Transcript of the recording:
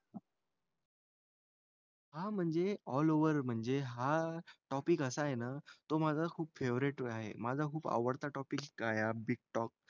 हां म्हणजे all over म्हणजे हा टॉपिक असा आहे ना तो माझा खूप फेव्हरेट आहे. माझा खूप आवडता टॉपिक आहे हा बिग टॉक.